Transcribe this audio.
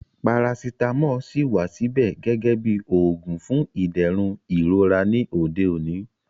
Parasitamọ ṣíì wà síbẹ̀ gẹ́gẹ́ bí oògùn fún ìdẹ̀rùn ìrora ní òde òní